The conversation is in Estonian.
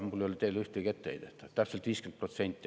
Mul ei ole teile ühtegi etteheidet, täpselt 50%.